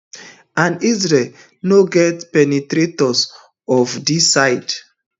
and israel no get penetrators of dis size